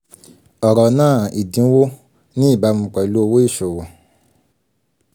ọ̀rọ̀ náà "ìdínwó" ní ìbámu pẹ̀lú owó ìṣòwò.